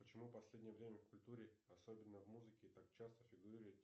почему последнее время в культуре особенно в музыке так часто фигурирует